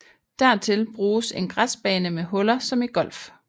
Dertil bruges en græsbane med huller som i golf